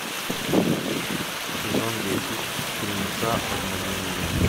сезон десять фильмеца обмани меня